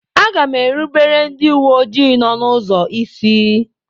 Aga m erubere ndị uwe ojii nọ n'ụzọ isi.